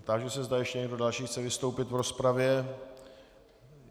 Táži se, zda ještě někdo další chce vystoupit v rozpravě.